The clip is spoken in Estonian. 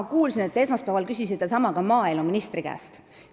Ma kuulsin, et te esmaspäeval küsisite sama ka maaeluministri käest.